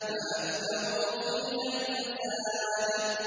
فَأَكْثَرُوا فِيهَا الْفَسَادَ